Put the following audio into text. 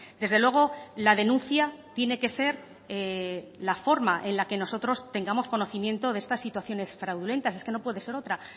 desde luego la denuncia tiene que ser la forma en la que nosotros tengamos conocimiento de estas situaciones fraudulentas es que no puede ser otra